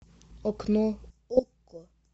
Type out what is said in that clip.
окно окко